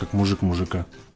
как мужик мужика